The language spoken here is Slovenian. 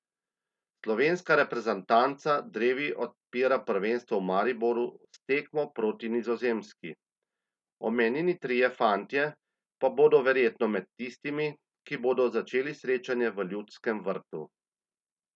Slovenska reprezentanca drevi odpira prvenstvo v Mariboru s tekmo proti Nizozemski, omenjeni trije fantje pa bodo verjetno med tistimi, ki bodo začeli srečanje v Ljudskem vrtu.